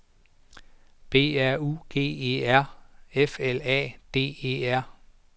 B R U G E R F L A D E R